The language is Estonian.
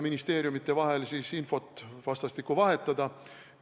Ministeeriumide vahel saab siis vastastikku infot vahetada.